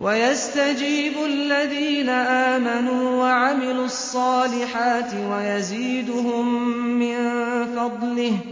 وَيَسْتَجِيبُ الَّذِينَ آمَنُوا وَعَمِلُوا الصَّالِحَاتِ وَيَزِيدُهُم مِّن فَضْلِهِ ۚ